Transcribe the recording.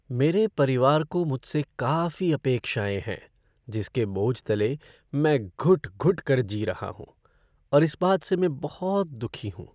मेरे परिवार को मुझसे काफी अपेक्षाएं है जिसके बोझ तले मैं घुट घुट कर जी रहा हूँ और इस बात से मैं बहुत दुखी हूँ।